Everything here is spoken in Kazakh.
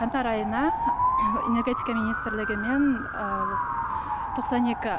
қаңтар айына энергетика министрлігімен тоқсан екі